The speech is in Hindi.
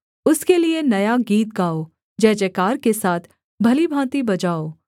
उसके लिये नया गीत गाओ जयजयकार के साथ भली भाँति बजाओ